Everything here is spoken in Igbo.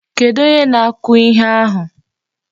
Kedụ onye na-akụ ihe ahụ?